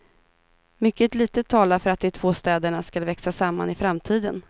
Mycket litet talar för att de två städerna skall växa samman i framtiden.